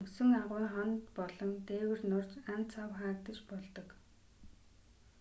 мөсөн агуйн хана болон дээвэр нурж ан цав хаагдаж болдог